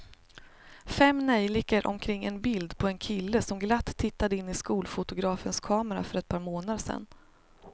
Fem neljikor omkring ett bild på en kille som glatt tittade in i skolfotografens kamera för ett par månader sedan.